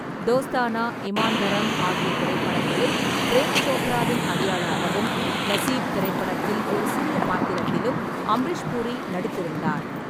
தோஸ்தானா, இமான் தரம் ஆகிய திரைப்படங்களில் பிரேம் சோப்ராவின் அடியாளாகவும், நஸீப் திரைப்படத்தில் ஒரு சிறிய பாத்திரத்திலும் அமரீஷ் பூரி நடித்திருந்தார்.